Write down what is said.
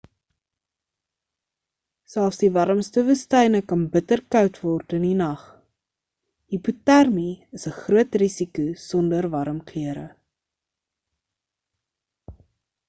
selfs die warmste woestyne kan bitter koud word in die nag hipotermie is 'n groot risiko sonder warm klere